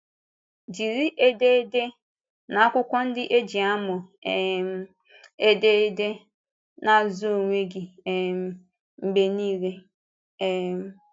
Jírí édèrdè na akwụkwọ ndị e ji àmụ um édèrdè na-azụ onwe gị um mgbe niile. um